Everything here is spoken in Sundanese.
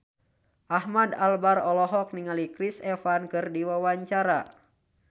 Ahmad Albar olohok ningali Chris Evans keur diwawancara